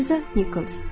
Liza Nikols.